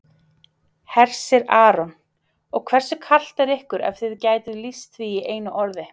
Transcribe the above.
Hersir Aron: Og hversu kalt er ykkur ef þið gætuð lýst því í einu orði?